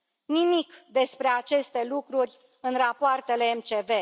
Nimic despre aceste lucruri în rapoartele MCV.